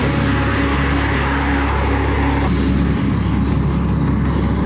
Bu hiss, bu hiss oyananda bizə həyat verir.